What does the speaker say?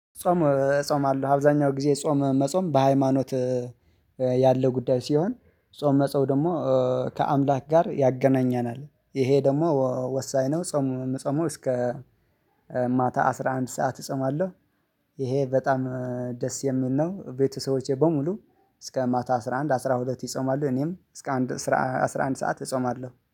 ጾም ዕጾማለው አብዛኛው ጊዜ ጾም መጾም በሃይማኖት ያለው ጉዳይ ሲሆን ጾም መጾም ደግሞ ከአምላክ ጋር ያገናኘናል ይሄ ደግሞ ወሳኝ ነው። ጸሙ የምጾመው እስከ ማታ አስራ አንድ ሰዓት እጾማለሁ። ይሄ በጣም ደስ የሚል ነው። ቤተሰቦቼ በሙሉ እስከ ማታ አስራ አንድ አስራ ሁለት ይጾማሉ። እኔም እስከ አስራ አንድ ሰዓት እጾማለሁ